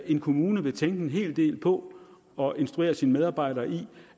en kommune vil tænke en hel del på og instruere sine medarbejdere i